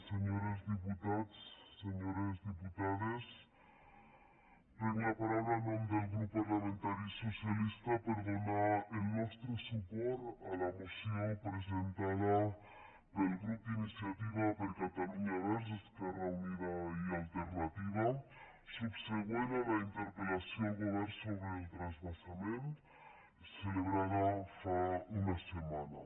senyors diputats senyores diputades prenc la paraula en nom del grup parlamentari socialista per donar el nostre suport a la moció presentada pel grup d’iniciativa per catalunya verds esquerra unida i alternativa subsegüent a la interpellació al govern sobre el transvasament celebrada fa una setmana